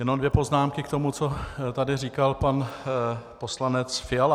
Jenom dvě poznámky k tomu, co tady říkal pan poslanec Fiala.